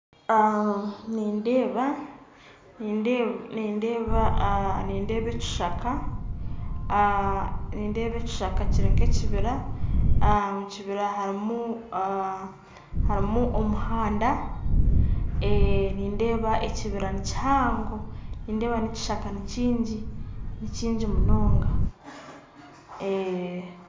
Nindeeba ekishaka kiri nka ekiibira omukiibira harumu omuhanda nindeeba ekiibira nikihango nindeeba nekishaka nikingyi munonga